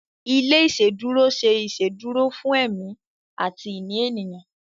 ilé iṣeduro se iṣeduro fún èmi àti ìní ènìyàn.